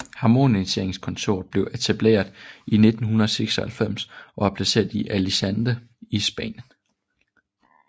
Harmoniseringskontorets blev etableret i 1996 og er placeret i Alicante i Spanien